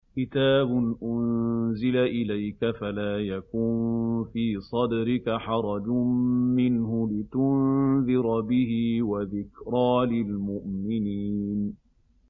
كِتَابٌ أُنزِلَ إِلَيْكَ فَلَا يَكُن فِي صَدْرِكَ حَرَجٌ مِّنْهُ لِتُنذِرَ بِهِ وَذِكْرَىٰ لِلْمُؤْمِنِينَ